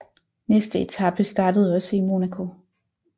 Næste etape startede også i Monaco